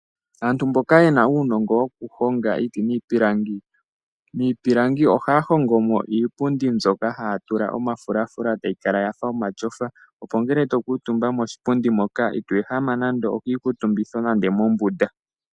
Aantu mboka yena uunongo wokuhonga iiti niipilangi, miipilangi ohaya hongo mo iipundi mbyoka haya tula omafulafula etayi kala yafa omatyofa opo ngele to kuutumba moshipundi moka ito ehama ehama nande okiikuutumbitho nenge mombunda.